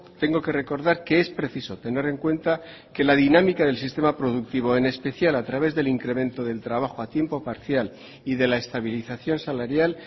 tengo que recordar que es preciso tener en cuenta que la dinámica del sistema productivo en especial a través del incremento del trabajo a tiempo parcial y de la estabilización salarial